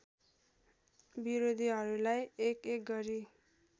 विरोधीहरूलाई एकएक गरी